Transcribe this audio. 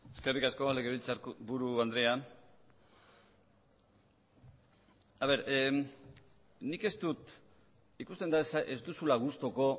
eskerrik asko legebiltzarburu andrea ikusten da ez duzula gustuko